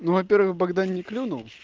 ну во-первых богдан не клюнул